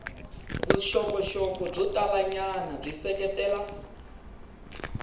vuxokoxoko byo talanyana byi seketela